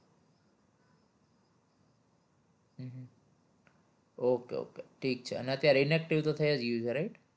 okay okay ઠીક છે અને અત્યારે inactive તો થઇ જ ગયું છે right